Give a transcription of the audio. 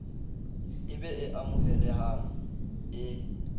e be e amohelehang e